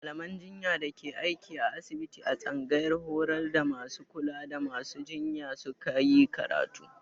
Mallaman jinya da ke aiki a asibiti a tsangayar horar da masu kula da masu jinya su ka yi karatu.